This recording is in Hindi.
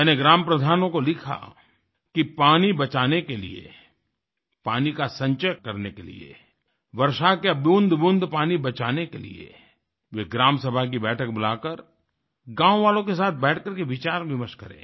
मैंने ग्राम प्रधानों को लिखा कि पानी बचाने के लिए पानी का संचय करने के लिए वर्षा के बूंदबूंद पानी बचाने के लिए वे ग्राम सभा की बैठक बुलाकर गाँव वालों के साथ बैठकर के विचारविमर्श करें